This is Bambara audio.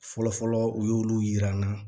Fɔlɔfɔlɔ u y'olu yira n na